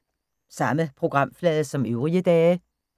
Samme programflade som øvrige dage